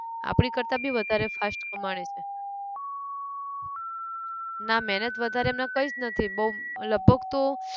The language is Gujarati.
આપણી કરતા બી વધારે fast કમાણી છે ના મહેનત વધારે એમનાં કંઈ જ નથી બઉ લગભગ તો